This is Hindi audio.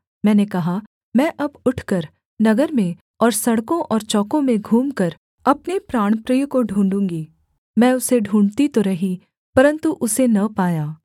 मैंने कहा मैं अब उठकर नगर में और सड़कों और चौकों में घूमकर अपने प्राणप्रिय को ढूँढ़ूगी मैं उसे ढूँढ़ती तो रही परन्तु उसे न पाया